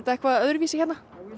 eitthvað öðruvísi hérna